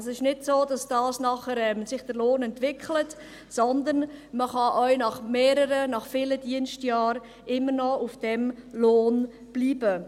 Es ist nicht so, dass sich der Lohn nachher entwickelt, sondern man kann auch nach mehreren, nach vielen Dienstjahren immer noch auf diesem Lohn bleiben.